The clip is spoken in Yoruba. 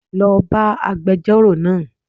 Lo bá agbejórò náà